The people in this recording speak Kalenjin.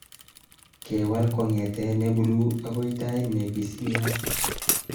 kewal kongete ne buluu agoi tait ne pisiliat